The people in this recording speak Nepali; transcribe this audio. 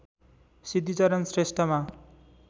सिद्धिचरण श्रेष्ठमा